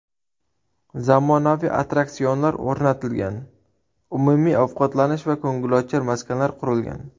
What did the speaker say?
Zamonaviy attraksionlar o‘rnatilgan, umumiy ovqatlanish va ko‘ngilochar maskanlar qurilgan.